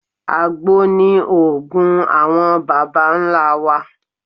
Àgbo ni òògùn àwọn bàbá ńlá wa.